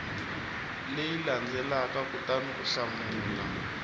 leyi landzelaka kutani u hlamula